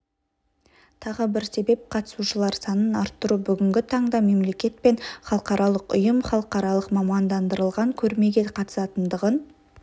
тағы бір себеп қатысушылар санын арттыру бүгінгі таңда мемлекет пен халықаралық ұйым халықаралық мамандандырылған көрмеге қатысатындығын